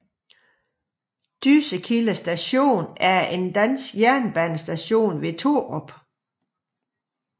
Dyssekilde Station er en dansk jernbanestation ved Torup